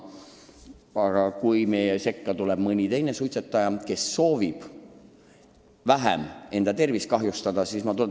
Aga kui meie sekka tuleb veel mõni suitsetaja, kes soovib vähem oma tervist kahjustada, siis on tore.